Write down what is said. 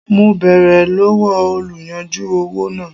Mo bèrè lọ́wọ́ oluyanju owó náà.